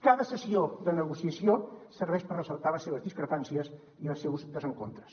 cada sessió de negociació serveix per ressaltar les seves discrepàncies i els seus desencontres